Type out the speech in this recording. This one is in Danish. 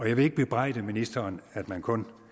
jeg vil ikke bebrejde ministeren at man kun